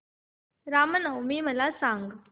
राम नवमी मला सांग